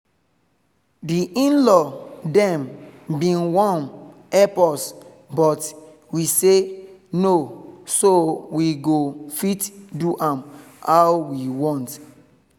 the in-law dem been wan help us but we say no so we go fit do am how we want.